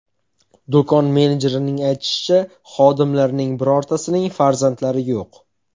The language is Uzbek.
Do‘kon menejerining aytishicha, xodimlarining birortasining farzandlari yo‘q.